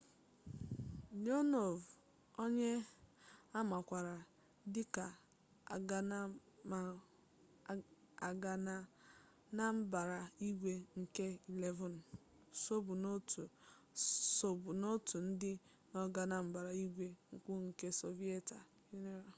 leonov onye a makwaara dịka ọganambaraigwe nke 11 sobu n'otu ndị na-aga na mbara igwe mbụ nke sọviyetị yunịọnụ